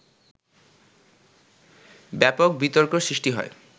ব্যাপক বিতর্ক সৃষ্টি হয়